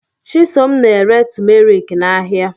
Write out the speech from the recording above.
Chisom na-ere tụmeriki n'ahịa.